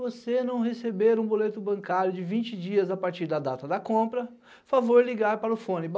Você não receber um boleto bancário de vinte dias a partir da data da compra, favor ligar para o fone.